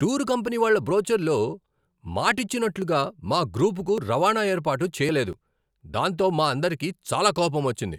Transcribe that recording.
Tour company వాళ్ళ బ్రోచర్లో మాటిచ్చినట్లుగా మా గ్రూపుకు రవాణా ఏర్పాటు చేయలేదు, దాంతో మా అందరికీ చాలా కోపమొచ్చింది.